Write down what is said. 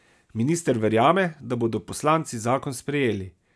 Minister verjame, da bodo poslanci zakon sprejeli.